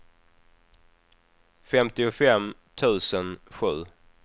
femtiofem tusen sju